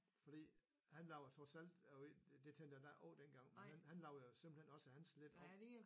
Fordi han lavede trods alt og det tænkte jeg da ikke over dengang men han lavede simpelthen også hans lidt om